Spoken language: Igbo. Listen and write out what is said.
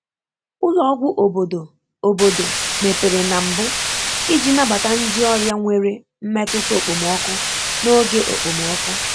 Ụlọ ọgwụ obodo obodo mepere na mbụ iji nabata ndị ọrịa nwere mmetụta okpomọkụ n'oge okpomọkụ.